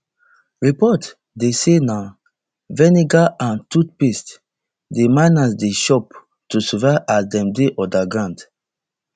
reports dey say na vinegar and toothpaste di miners dey chop to survive as dem dey underground